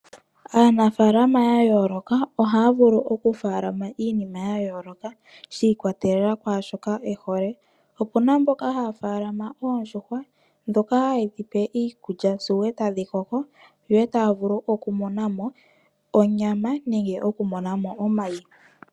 Aanafalama ya yooloka ohaya vulu okufaalama iinima ya yooloka shi ikwatelela kwaa shoka e hole. Opu na mboka haya faalama oondjuhwa ndhoka haye dhi pe iikulya sigo e tadhi koko yo e taya vulu okumona mo onyama nenge okumona mo omayi.